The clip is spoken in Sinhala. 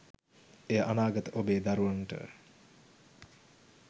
එය අනාගත ඔබේ දරුවනට